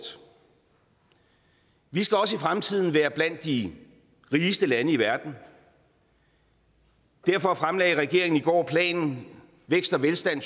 vi skal også i fremtiden være blandt de rigeste lande i verden og derfor fremlagde regeringen i går planen vækst og velstand